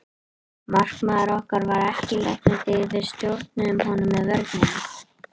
Markmaður okkar var ekki í leiknum því við stjórnuðum honum með vörninni.